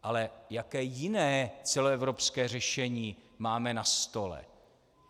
Ale jaké jiné celoevropské řešení máme na stole?